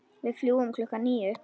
Við fljúgum klukkan níu.